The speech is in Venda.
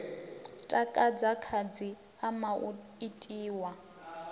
takadza khasi ama u itiwa